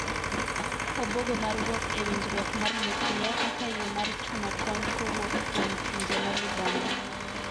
Obuogo mar wuok e winjruok mar nuklia kaka yo mar chuno kony kowuok kuom pinje ma libamba.